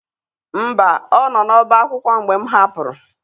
Mba, ọ nọ n'ọbá akwụkwọ mgbe m hapụrụ.